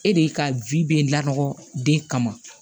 E de ka bɛ laɔgɔ den kama